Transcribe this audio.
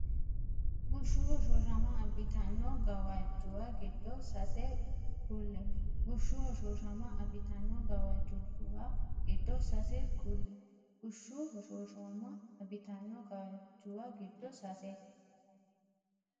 Bushshu hoshooshama abbitanno gawajjuwa giddo sase kulle Bushshu hoshooshama abbitanno gawajjuwa giddo sase kulle Bushshu hoshooshama abbitanno gawajjuwa giddo sase.